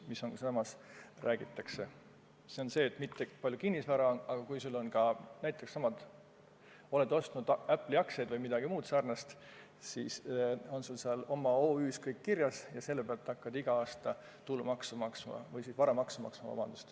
See pole üksnes see, kui palju kinnisvara sul on, vaid kui sa oled näiteks ostnud Apple'i aktsiaid või midagi muud sarnast, siis on sul seal oma OÜ-s kõik kirjas ja selle pealt sa hakkad igal aastal varamaksu maksma.